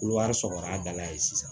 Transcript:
Kolowari sɔgɔra a dala ye sisan